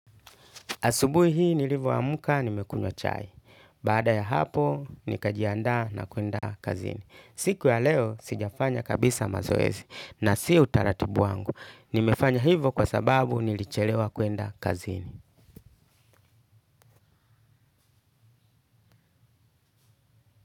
Asubuhi hii nilivyo amka nimekunywa chai. Baada ya hapo, nikajiandaa na kuenda kazini. Siku ya leo, sijafanya kabisa mazoezi na si utaratibu wangu. Nimefanya hivyo kwa sababu nilichelewa kuenda kazini.